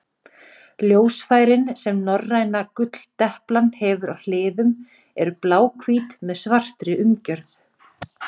Ljósfærin sem norræna gulldeplan hefur á hliðum eru bláhvít með svartri umgjörð.